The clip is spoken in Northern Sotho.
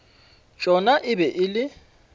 tšona e be e le